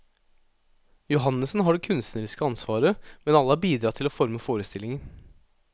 Johannessen har det kunstneriske ansvaret, men alle har bidratt til å forme forestillingen.